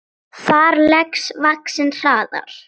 Þar vex laxinn hraðar.